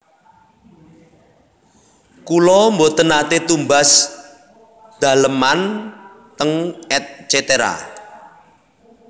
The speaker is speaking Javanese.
Kula mboten nate tumbas daleman teng Et cetera